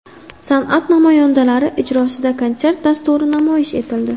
San’at namoyandalari ijrosida konsert dasturi namoyish etildi.